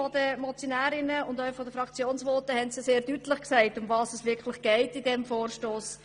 Worum es in diesem Vorstoss wirklich geht, wurde bereits mehrmals gesagt.